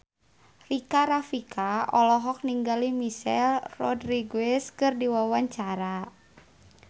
Rika Rafika olohok ningali Michelle Rodriguez keur diwawancara